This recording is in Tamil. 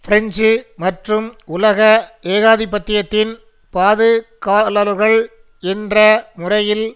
பிரெஞ்சு மற்றும் உலக ஏகாதிபத்தியத்தின் பாது காவலர்கள் என்ற முறையில்